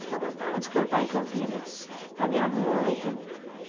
Porque eu gostava de cantar em Campinas, para a minha mãe e tudo.